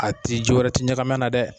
A tɛ ji wɛrɛ tɛ ɲagmi a la dɛ.